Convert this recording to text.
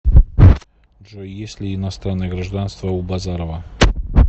джой есть ли иностранное гражданство у базарова